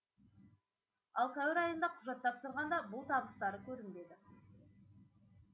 ал сәуір айында құжат тапсырғанда бұл табыстары көрінбеді